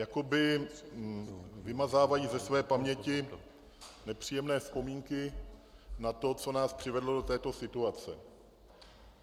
Jakoby vymazávají ze své paměti nepříjemné vzpomínky na to, co nás přivedlo do této situace.